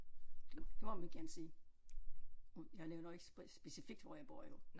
Det det må man gerne sige jeg nævner ikke specifikt hvor jeg bor jo